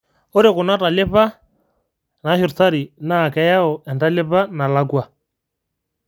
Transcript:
ore kuna talipa nashurtari naa keyau entalipa nalakwa